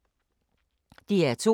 DR2